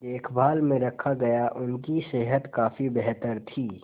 देखभाल में रखा गया उनकी सेहत काफी बेहतर थी